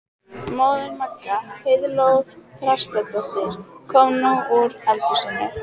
Móðir Magga, Heiðló Þrastardóttir, kom nú úr eldhúsinu.